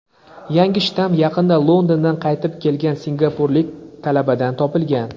yangi shtamm yaqinda Londondan qaytib kelgan singapurlik talabadan topilgan.